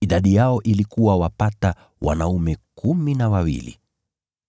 Walikuwa kama wanaume kumi na wawili.